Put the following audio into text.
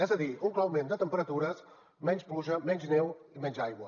és a dir un clar augment de temperatures menys pluja menys neu i menys aigua